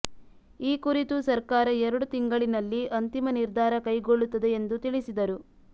ಈ ಕುರಿತು ಸರ್ಕಾರ ಎರಡು ತಿಂಗಳಿನಲ್ಲಿ ಅಂತಿಮ ನಿರ್ಧಾರ ಕೈಗೊಳ್ಳುತ್ತದೆ ಎಂದು ತಿಳಿಸಿದರು